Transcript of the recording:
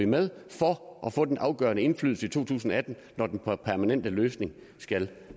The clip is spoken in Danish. med for at få den afgørende indflydelse i to tusind og atten når den permanente løsning skal